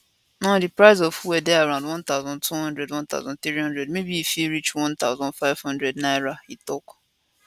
now di price of fuel dey around 1200 1300 maybe e fit reach 1500 naira e tok